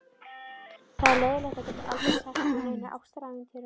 Það er leiðinlegt að geta aldrei sagt frá neinum ástarævintýrum.